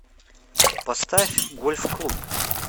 поставь гольфклуб